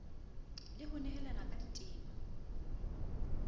le ho nehelana ka ditema